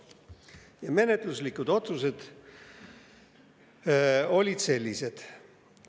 Ja menetluslikud otsused olid sellised.